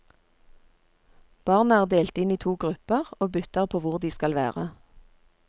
Barna er delt inn i to grupper og bytter på hvor de skal være.